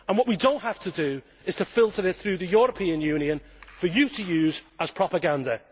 What we do not have to do is to filter it through the European Union for the EU to use as propaganda.